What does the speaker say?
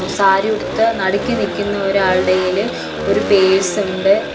സാരിയുടുത്ത് നടുക്ക് നിക്കുന്ന ഒരാളുടെയ്യില് ഒരു പേഴ്സുണ്ട് .